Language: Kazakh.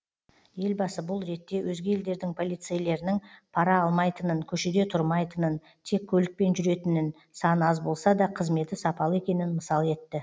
елбасы бұл ретте өзге елдердің полицейлерінің пара алмайтынын көшеде тұрмайтынын тек көлікпен жүретінін саны аз болса да қызметі сапалы екенін мысал етті